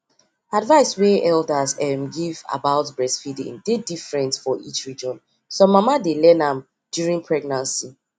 advice wey elders um give about breastfeeding dey different for each region some mama dey learn am during pregnancy